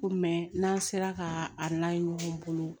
Ko mɛ n'an sera ka a n'a ye ɲɔgɔn bolo